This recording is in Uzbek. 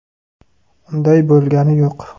Unday bo‘lgani yo‘q.